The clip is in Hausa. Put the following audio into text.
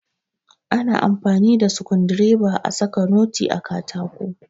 Ana amfani da Sukundireba a saka noti a katako.